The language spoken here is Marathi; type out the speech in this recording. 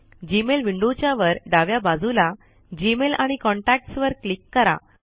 जीमेल विंडो च्या वर डाव्या बाजूला जीमेल आणि कॉन्टॅक्ट्स वर क्लिक करा